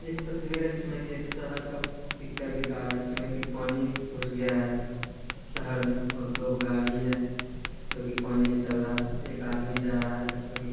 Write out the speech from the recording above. एक तस्वीर है जिसमे की एक शहर का पिक्चर दिखा रहा है जिसमे की पानी घुस गया है शहर मे और दो गाड़ी है जो की पानी मे चल रहा है एक आदमी जा रहा है जो की --